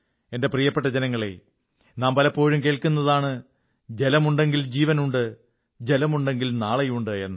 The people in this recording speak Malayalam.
എന്റെ പ്രിയപ്പെട്ട ജനങ്ങളേ നാം പലപ്പോഴും കേൾക്കുന്നതാണ് ജലമുണ്ടെങ്കിൽ ജീവനുണ്ട് ജലമുണ്ടെങ്കിൽ നാളെയുണ്ട് എന്ന്